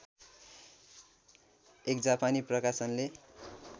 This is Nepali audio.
एक जापानी प्रकाशनले